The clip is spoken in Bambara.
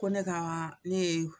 Ko ne ka ne ye